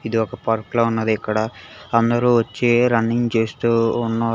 ఇది ఒక పార్క్ ల ఉన్నది ఇక్కడ అందరూ వచ్చి రన్నింగ్ చేస్తూ ఉన్నారు.